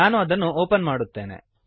ನಾನು ಅದನ್ನು ಓಪನ್ ಮಾಡುತ್ತೇನೆ